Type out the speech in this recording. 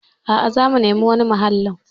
A'a, zamu nemi wani mahallin.